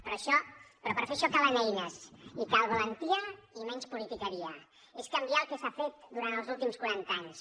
però per fer això calen eines i cal valentia i menys politiqueria és canviar el que s’ha fet durant els últims quaranta anys